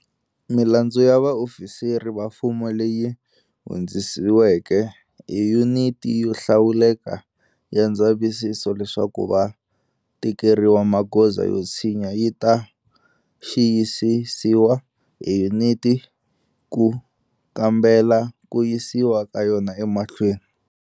Milandzu ya vaofisiri va mfumo leyi hundzisiweke hi Yuniti yo Hlawuleka ya Ndzavisiso leswaku va tekeriwa magoza yo tshinya yi ta xiyisisiwa hi yuniti ku kambela ku yisiwa ka yona emahlweni.